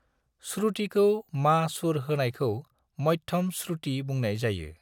श्रृटिखौ मा सुर होनायखौ मध्यम श्रुटि बुंनाय जायो।